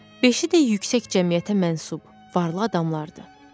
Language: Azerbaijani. Beşi də yüksək cəmiyyətə mənsub varlı adamlardı.